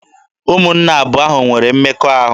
Ụmụnne abụọ ahụ nwere mmekọahụ.